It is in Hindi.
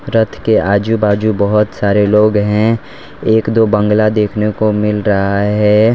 रथ के आजू बाजू बहोत सारे लोग हैं एक दो बंगला देखने को मिल रहा है।